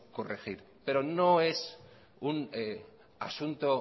corregir pero no es un asunto